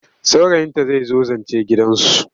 Saurayinta zai zo zance gidansu.